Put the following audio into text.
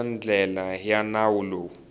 eka ndlela ya nawu lowu